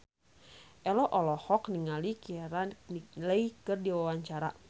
Ello olohok ningali Keira Knightley keur diwawancara